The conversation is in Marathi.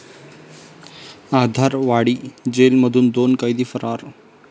आधारवाडी जेलमधून दोन कैदी फरार